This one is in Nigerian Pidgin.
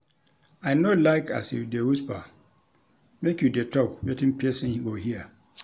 I no like as you dey whisper, make you dey tok wetin pesin go hear.